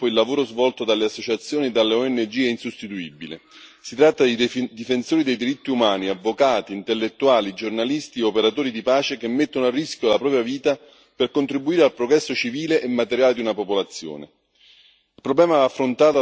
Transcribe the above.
In molti territori in via di sviluppo il lavoro svolto dalle associazioni e dalle ONG è insostituibile si tratta dei difensori dei diritti umani avvocati, intellettuali, giornalisti e operatori di pace che mettono a rischio la propria vita per contribuire al progresso civile e materiale di una popolazione.